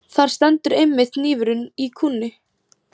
Þar stendur einmitt hnífurinn í kúnni.